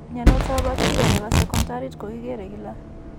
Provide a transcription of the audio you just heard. Mnyantoap bacteria ne po seekoontariit ko kikere kila.